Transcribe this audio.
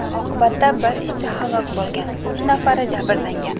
Oqibatda bir ishchi halok bo‘lgan, uch nafari jabrlangan.